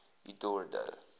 eldorado